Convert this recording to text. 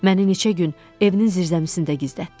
Məni neçə gün evinin zirzəmisində gizlətdi.